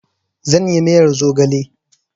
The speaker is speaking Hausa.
Zan yi miyar zogale